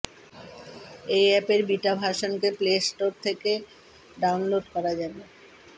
এই অ্যাপের বিটা ভার্শনকে প্লে স্টোর থেকে ডাউনলোড করা যাবে